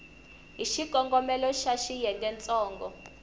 hi xikongomelo xa xiyenge ntsongo